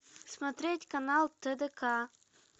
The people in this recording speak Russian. смотреть канал тдк